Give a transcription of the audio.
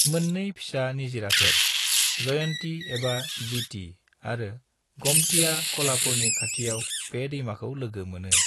मोन्नै फिसा निजिराफोर, जयंती एबा जीती आरो गोमतीया कोल्हापुरनि खाथियाव बे दैमाखौ लोगो मोनो।